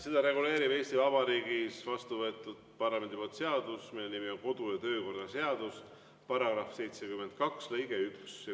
Seda reguleerib Eesti Vabariigis parlamendi poolt vastu võetud seadus, mille nimi on kodu- ja töökorra seadus, § 72 lõige 1.